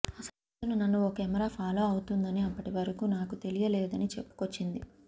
అసలు నన్ను ఓ కెమెరా ఫాలో అవుతుందని అప్పటివరకు నాకు తెలియలేదని చెప్పుకొచ్చింది